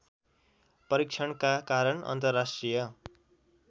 परीक्षणका कारण अन्तर्राष्ट्रिय